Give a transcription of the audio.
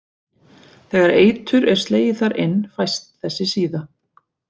Þegar eitur er slegið þar inn fæst þessi síða.